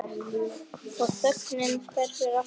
Og þögnin hverfur alltof fljótt.